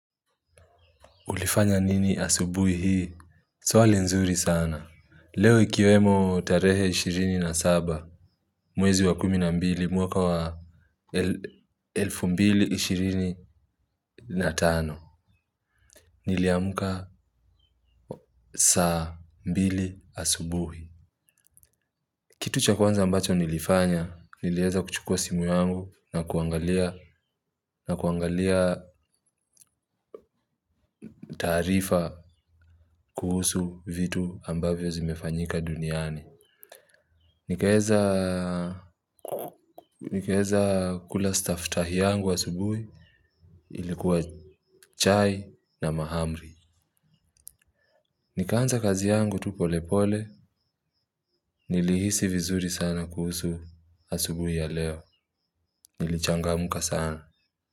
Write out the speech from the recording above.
Ulifanya nini asubui hii? Swali nzuri sana leo ikiwemo tarehe ishirini na saba mwezi wa kumi na mbili mwaka wa el elfu mbili ishirini na tano niliamka saa mbili asubuhi. Kitu cha kwanza ambacho nilifanya nilieza kuchukua simu yangu na kuangalia na kuangalia taarifa kuhusu vitu ambavyo zimefanyika duniani. Nikae nikaeza kula staftahi yangu asubuhi ilikuwa chai na mahamri. Nikaanza kazi yangu tu polepole, nilihisi vizuri sana kuhusu asubuhi ya leo. Nilichangamka sana.